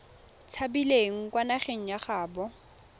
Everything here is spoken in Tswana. tshabileng kwa nageng ya gaabo